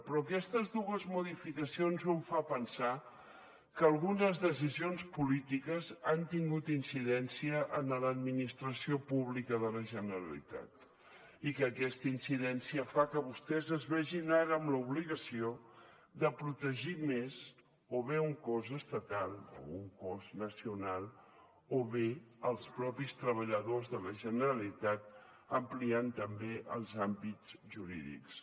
però aquestes dues modificacions em fan pensar que algunes decisions polítiques han tingut incidència en l’administració pública de la generalitat i que aquesta incidència fa que vostès es vegin ara amb l’obligació de protegir més o bé un cos estatal o un cos nacional o bé els mateixos treballadors de la generalitat ampliant també els àmbits jurídics